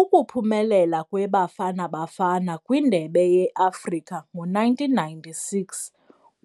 Ukuphumelela kweBafana Bafana kwindebe yeAfrika ngo-nineteen ninety-six